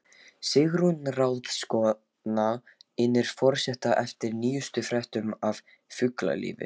Sigrún ráðskona innir forseta eftir nýjustu fréttum af fuglalífi.